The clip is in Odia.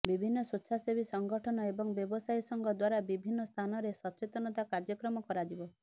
ବିଭିନ୍ନ ସ୍ବେଚ୍ଛାସେବୀ ସଂଗଠନ ଏବଂ ବ୍ୟବସାୟୀ ସଂଘ ଦ୍ବାରା ବିଭିନ୍ନ ସ୍ଥାନରେ ସଚେତନତା କାର୍ଯ୍ୟକ୍ରମ କରାଯିବ